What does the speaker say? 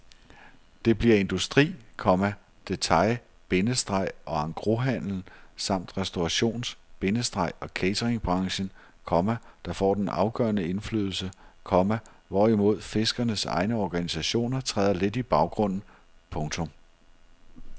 Det bliver industri, komma detail- bindestreg og engroshandelen samt restaurations- bindestreg og cateringbranchen, komma der får den afgørende indflydelse, komma hvorimod fiskernes egne organisationer træder lidt i baggrunden. punktum